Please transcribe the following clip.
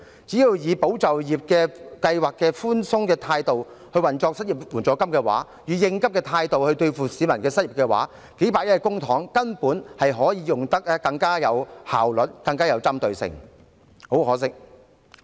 只要以"保就業"計劃的寬鬆態度來運作失業援助金，以應急的態度來應對市民的失業情況，數百億元公帑便可以用得更有效率，更有針對性。